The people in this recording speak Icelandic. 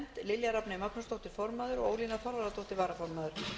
lilja rafney magnúsdóttir formaður ólína þorvarðardóttir varaformaður